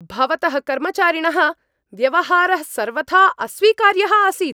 भवतः कर्मचारिणः व्यवहारः सर्वथा अस्वीकार्यः आसीत्।